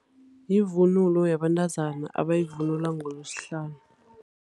Yivunulo yabentazana abayivunula ngoLwesihlanu.